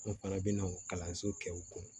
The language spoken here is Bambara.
An fana bɛna kalanso kɛ u kun